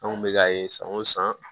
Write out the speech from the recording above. An kun bɛ k'a ye san o san